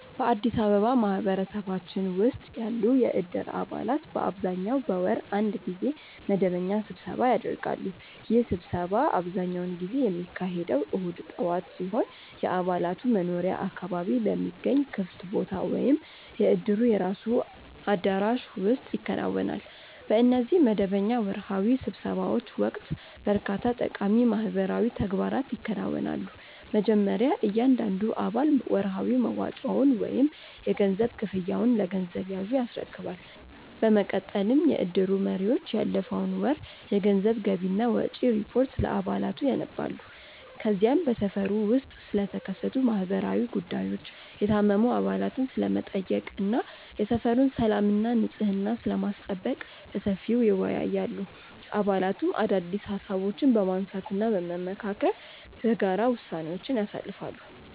በአዲስ አበባ ማህበረሰባችን ውስጥ ያሉ የእድር አባላት በአብዛኛው በወር አንድ ጊዜ መደበኛ ስብሰባ ያደርጋሉ። ይህ ስብሰባ አብዛኛውን ጊዜ የሚካሄደው እሁድ ጠዋት ሲሆን፣ የአባላቱ መኖሪያ አካባቢ በሚገኝ ክፍት ቦታ ወይም የእድሩ የራሱ አዳራሽ ውስጥ ይከናወናል። በእነዚህ መደበኛ ወርሃዊ ስብሰባዎች ወቅት በርካታ ጠቃሚ ማህበራዊ ተግባራት ይከናወናሉ። መጀመሪያ እያንዳንዱ አባል ወርሃዊ መዋጮውን ወይም የገንዘብ ክፍያውን ለገንዘብ ያዡ ያስረክባል። በመቀጠልም የእድሩ መሪዎች ያለፈውን ወር የገንዘብ ገቢና ወጪ ሪፖርት ለአባላቱ ያነባሉ። ከዚያም በሰፈሩ ውስጥ ስለተከሰቱ ማህበራዊ ጉዳዮች፣ የታመሙ አባላትን ስለመጠየቅ እና የሰፈሩን ሰላምና ንጽሕና ስለማስጠበቅ በሰፊው ይወያያሉ። አባላቱም አዳዲስ ሃሳቦችን በማንሳትና በመመካከር በጋራ ውሳኔዎችን ያሳልፋሉ።